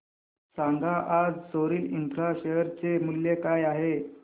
सांगा आज Soril infra share चे मूल्य काय आहे